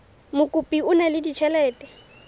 mokopi o na le ditjhelete